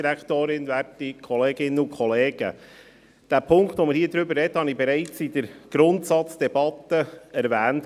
Den hier zu besprechenden Punkt habe ich bereits in der Grundsatzdebatte erwähnt.